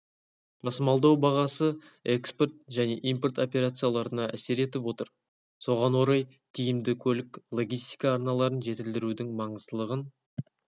тасымалдау бағасы экспорт және импорт операцияларына әсер етіп отыр соған орай тиімді көлік-логистика арналарын жетілдірудің маңыздылығын